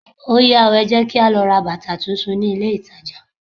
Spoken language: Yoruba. Óyá o, ẹ jẹ́ kí á lọ ra bàtà tún tún ní ilé ìtajà.